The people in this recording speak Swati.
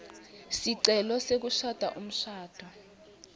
sicelo sekushada umshado